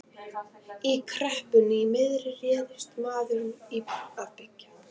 Í kreppunni miðri réðist maðurinn í að byggja.